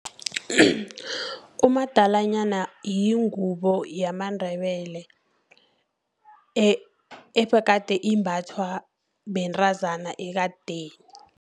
Umadalanyana yingubo yamandebele, ebegade imbathwa bentrazana ekadeni.